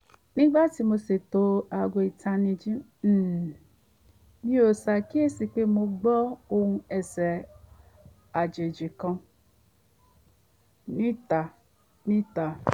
nígbà tí mò ń ṣètò aago ìtanijí um mi mo ṣàkíyèsí pé mò n gbọ́ òhùn ẹsẹ̀ àjèjì kan níta níta